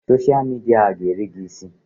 Soshal midia a ga-eri gị isi!